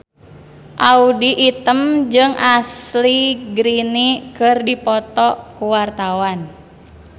Audy Item jeung Ashley Greene keur dipoto ku wartawan